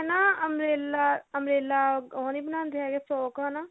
ਨਾ umbrella umbrella ਉਹ ਨਹੀਂ ਬਣਾਉਂਦੇ ਹੈਗਏ frock ਹਨਾ